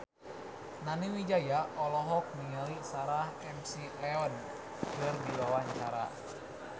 Nani Wijaya olohok ningali Sarah McLeod keur diwawancara